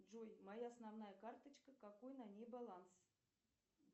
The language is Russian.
джой моя основная карточка какой на ней баланс